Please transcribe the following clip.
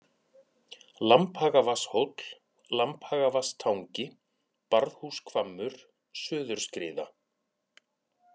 Lambhagavatnshóll, Lambhagavatnstangi, Barðhúshvammur, Suðurskriða